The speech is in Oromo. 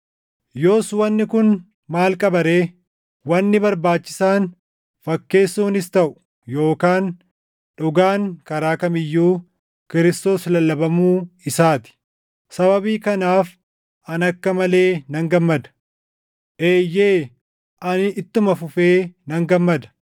Yoos wanni kun maal qaba ree? Wanni barbaachisaan fakkeessuunis taʼu yookaan dhugaan karaa kam iyyuu Kiristoos lallabamuu isaa ti. Sababii kanaaf ani akka malee nan gammada. Eeyyee ani ittuma fufee nan gammada;